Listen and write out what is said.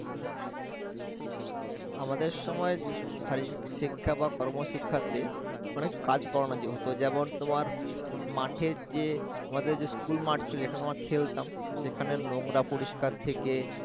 আমাদের সময় শারীরিকশিক্ষা কর্মশিক্ষা তে অনেক কাজ করানো যে হত যেমন তোমার মাঠের যে আমাদের যে স্কুল মঠছিল যেখানে আমরা খেলতাম সেখানে নোংরা পরিস্কার থেকে